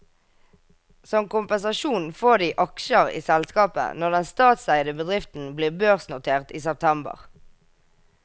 Som kompensasjon får de aksjer i selskapet når den statseide bedriften blir børsnotert i september.